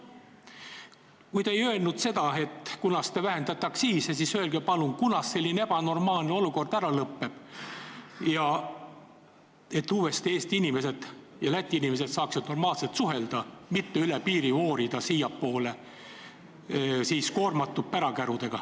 Kui te ei öelnud seda, kunas te aktsiisi vähendate, siis öelge palun, kunas selline ebanormaalne olukord ära lõpeb, et Eesti ja Läti inimesed saaksid uuesti normaalselt suhelda ja eestlased ei peaks üle piiri voorima siiapoole koormatud pärakärudega.